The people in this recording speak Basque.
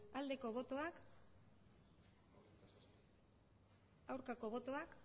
aldeko botoak aurkako botoak